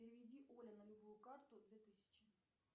переведи оле на любую карту две тысячи